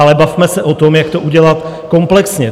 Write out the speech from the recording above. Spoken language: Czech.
Ale bavme se o tom, jak to udělat komplexně.